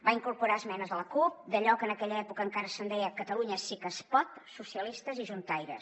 va incorporar esmenes de la cup d’allò que en aquella època encara se’n deia catalunya sí que es pot socialistes i juntaires